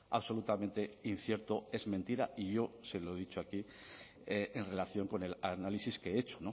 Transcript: absolutamente incierto es mentira y yo se lo he dicho aquí en relación con el análisis que he hecho